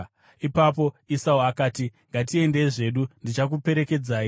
Ipapo Esau akati, “Ngatiendei zvedu; ndichakuperekedzai.”